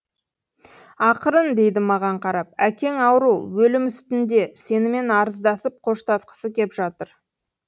ақырын дейді маған қарап әкең ауру өлім үстінде сенімен арыздасып қоштасқысы кеп жатыр